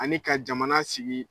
Ani ka jamana sigi